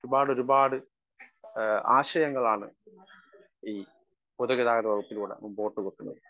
Speaker 1 ഒരുപാടൊരുപാട് ആ ആശയങ്ങളാണ് ഈ പൊതുഗതാഗത വകുപ്പിലൂടെ മുൻപോട്ടു വെക്കുന്നത്.